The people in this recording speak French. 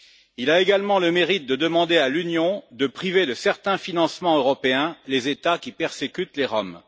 Il a également le mérite de demander à l'Union de priver de certains financements européens les États qui persécutent les Roms.